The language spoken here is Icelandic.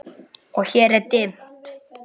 Og hér er dimmt.